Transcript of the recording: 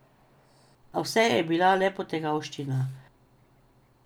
A vse je bila le potegavščina.